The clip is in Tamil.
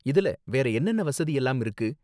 இதுல வேற என்னென்ன வசதி எல்லாம் இருக்கு?